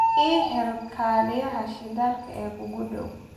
I hel kaaliyaha shidaalka ee kuugu dhow